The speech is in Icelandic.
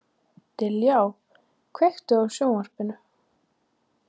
Dilja, kveiktu á sjónvarpinu.